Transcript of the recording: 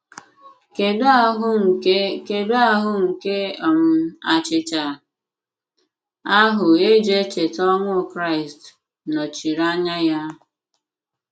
Kedụ ahụ́ nke Kedụ ahụ́ nke um achịcha ahụ e ji echeta ọnwụ Kraịst nọchiri anya ya?